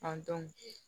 An dɔn